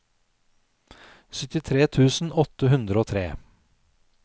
syttitre tusen åtte hundre og tre